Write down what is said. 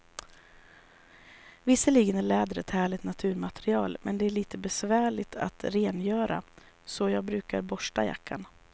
Visserligen är läder ett härligt naturmaterial, men det är lite besvärligt att rengöra, så jag brukar borsta jackan.